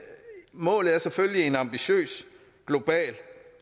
målet er selvfølgelig en ambitiøs global